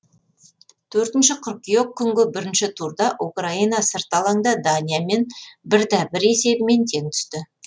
төртінші қыркүйек күнгі бірінші турда украина сырт алаңда даниямен бірде бір есебімен тең түсті